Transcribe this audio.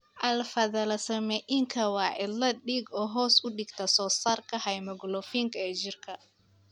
Alpha thalassaemiaka waa cillad dhiig oo hoos u dhigta soosaarka haemoglobinka ee jirka.